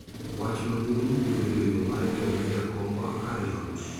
wach maduong' biro bedo yoo mar gero ne jakombwa kar jot